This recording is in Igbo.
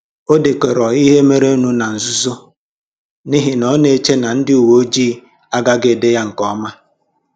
O dekọrọ ihe mere nụ ná nzuzo n’ihi na ọ na-eche na ndị uwe ojii agaghị ede ya nke ọma.